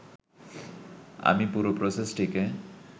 আমি পুরো প্রসেসটিকে